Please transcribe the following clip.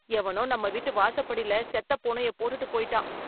எவனோ நம்ம வீட்டு வாசப்படில, செத்தப் பூனைய போட்டுட்டு போய்ட்டான்.